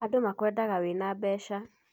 Andũ makwendaga wĩna mbeca